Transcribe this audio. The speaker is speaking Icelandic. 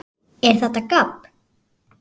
ER ÞETTA GABB?